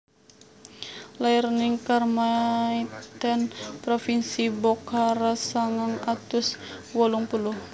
Lair ning Kharmaithen provinsi Bokhara sangang atus wolung puluh